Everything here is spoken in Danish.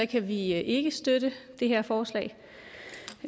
kan vi ikke ikke støtte det her forslag